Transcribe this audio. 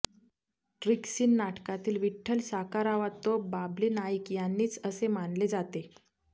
ट्रीकसीन नाटकातील विठ्ठल साकारावा तो बाबली नाईक यांनीच असे मानले जाते